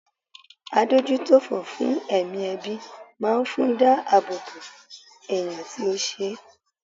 Adójútòfò fún ẹ̀mí ẹbí máa fún dá àbọ̀ bò ẹ̀yàn tí ó ṣe.